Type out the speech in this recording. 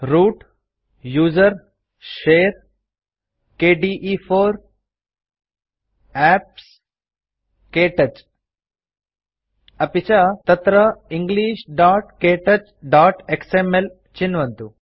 root gtusr gtshare gtkde4 gtapps गत्क्तौच अपि च तत्र englishktouchएक्सएमएल चिन्वन्तु